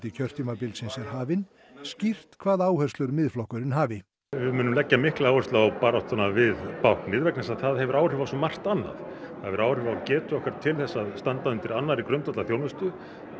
kjörtímabilsins er hafinn skýrt hvaða áherslur Miðflokkurinn hafi við munum leggja mikla áherslu á baráttuna við báknið vegna þess að það hefur áhrif á svo margt annað það hefur áhrif á getu okkar til að standa undir annarri grundvallarþjónustu